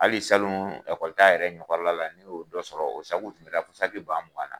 Hali salon kɔli ta yɛrɛ ɲɛkɔrɔla la, ne y'o dɔ sɔrɔ o sabu kun kusa banugan la.